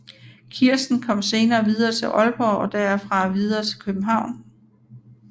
Kirsten kom senere videre til Aalborg og derfra videre til København